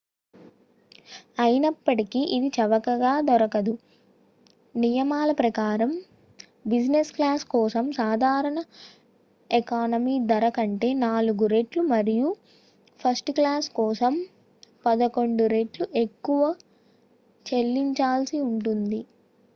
అయినప్పటికీ ఇది చవకగా దొరకదు నియమాల ప్రకారం బిసినెస్ క్లాస్ కోసం సాధారణ ఎకానమీ ధర కంటే 4 రెట్లు మరియు ఫస్ట్ క్లాస్ కోసం పదకొండు రెట్లు ఎక్కువ చెల్లించాల్సి ఉంటుంది